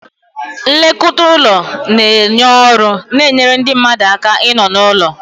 Nlekọta ụlọ na-enye ọrụ na-enyere ndị mmadụ aka ịnọ n'ụlọ.